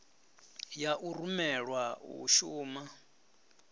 ya u rumelwa u shuma